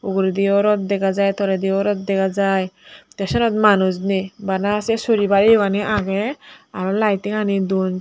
ugurediyo rot dega jai tolediyo rot dega jai tey siyenot manuj nei bana sei suribar yogani agey aro lightingani don tey.